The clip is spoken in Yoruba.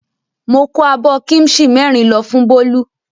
Mo kó abọ́ kíḿṣì mẹ́rin lọ fún Bólú.